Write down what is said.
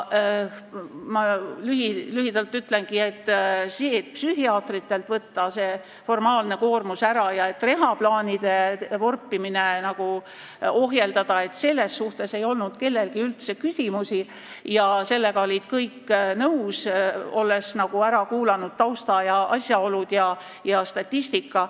Selle kohta, et psühhiaatritelt võtta ära see formaalne koormus ja ohjeldada reha-plaanide vorpimist, ei olnud kellelgi küsimusi, sellega olid kõik nõus, olles ära kuulanud tausta, asjaolud ja statistika.